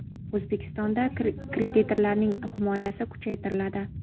O‘zbekistonda kreditorlarning himoyasi kuchaytiriladi.